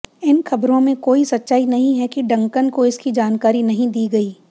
इन खबरों में कोई सच्चाई नहीं है कि डंकन को इसकी जानकारी नहीं दी गई